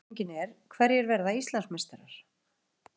Spurningin er: Hverjir verða Íslandsmeistarar?